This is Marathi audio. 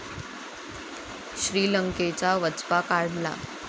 श्रीलंकेचा वचपा काढला